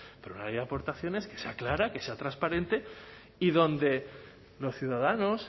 pero una ley de aportaciones que sea clara que sea transparente y donde los ciudadanos